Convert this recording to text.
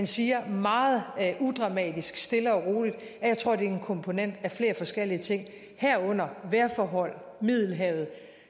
siger meget udramatisk og stille og roligt at jeg tror det er en komponent af flere forskellige ting herunder vejrforhold i middelhavet